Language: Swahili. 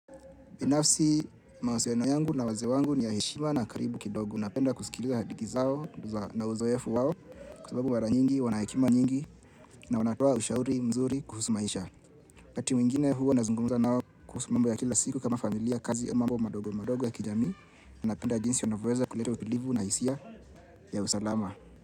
Binafsi mawasiliano yangu na wazee wangu ni ya heshima na karibu kidogo. Unapenda kusikilia hadithi zao na uzoefu wao kwa sababu mara nyingi, wanahekima nyingi na wanatoa ushauri mzuri kuhusu maisha. Wakati mwingine huwa nazungumuza nao kuhusu mambo ya kila siku kama familia kazi mambo madogo madogo ya kijami. Napenda jinsi wanavoeza kuleta utulivu na hisia ya usalama.